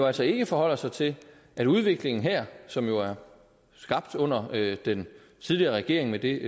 altså ikke forholder sig til at udviklingen her som jo er skabt under den tidligere regering med det